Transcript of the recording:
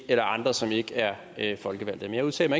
eller andre som ikke er folkevalgte men jeg udtalte